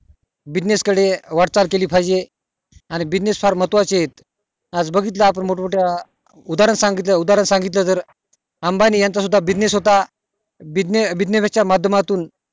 business वाटचाल केली पाहिजे आणि business फार महत्वा चे आहेतआज बघितलं आपण मोठं मोठ्या उद्धरण सांगतील उद्धरण सांगितलं जर अंबानी यांचा सुद्धा business होता businessbusiness च्या माध्यमातुन